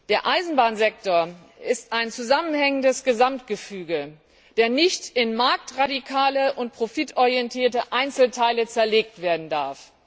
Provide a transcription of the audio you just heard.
Der Eisenbahnsektor ist ein zusammenhängendes Gesamtgefüge, der nicht in marktradikale und profitorientierte Einzelteile zerlegt werden darf.